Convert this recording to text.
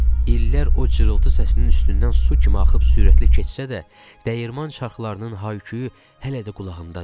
İllər o cırıltı səsinin üstündən su kimi axıb sürətli keçsə də, dəyirman çarxlarının hay-küyü hələ də qulağımdadır.